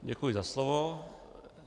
Děkuji za slovo.